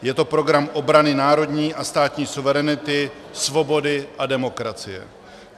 Je to program obrany národní a státní suverenity, svobody a demokracie.